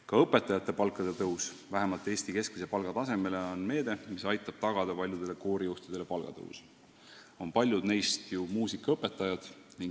Ka õpetajate palkade tõus vähemalt Eesti keskmise palga tasemele on meede, mis aitab tagada paljudele koorijuhtidele palgatõusu – paljud neist on ju muusikaõpetajad.